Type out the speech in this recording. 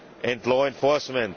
and law enforcement.